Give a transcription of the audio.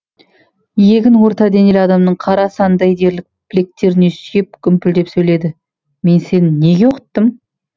иегін орта денелі адамның қара санындай дерлік білектеріне сүйеп гүмпілдеп сөйледі мен сені неге оқыттым